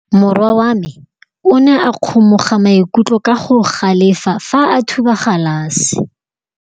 Morwa wa me o ne a kgomoga maikutlo ka go galefa fa a thuba galase.